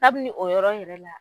Kabini o yɔrɔ yɛrɛ la